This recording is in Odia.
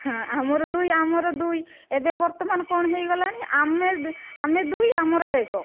ହଁ, ଆମର ଦୁଇ ଆମର ଦୁଇ ଏବେ ବର୍ତ୍ତମାନ କଣ ହେଇଗଲାଣି ଆମେ ଦୁଇ ଆମର ଏକ